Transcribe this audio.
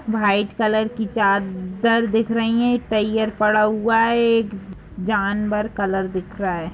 White colour की चा दर दिख रही हैं। पड़ा हुआ है। एक जानवर कलर दिख रहा है।